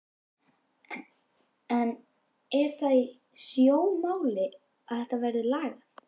En er það í sjónmáli að þetta verði lagað?